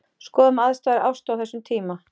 Skoðum aðstæður Ástu á þessum tíma.